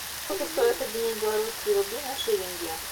сколько стоит обменять белорусские рубли на шиллинги